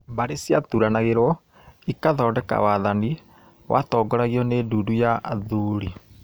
Mbarĩ ciaturanagĩrwo ikathodeka wathani watongoragio ni ndundu ya athuri